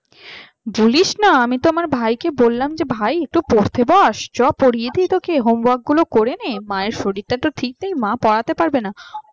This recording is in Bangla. বলিস না আমি তো আমার ভাইকে বললাম যে ভাই একটু পড়তে বস। চ পরিতে তোকে homework গুলি করিয়ে নে মায়ের শরীরটা ঠিক নেই মা পড়াতে পারবে না